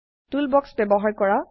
টুল box ব্যবহাৰ কৰা